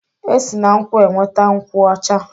E si na nkwụ enweta nkwụ ọcha.